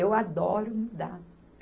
Eu adoro mudar.